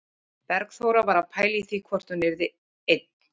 Bergþóra var að pæla í því hvort þú yrðir einn